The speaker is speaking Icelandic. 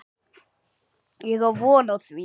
Ég á von á því.